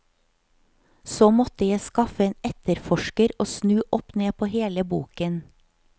Så måtte jeg skaffe en etterforsker og snu opp ned på hele boken.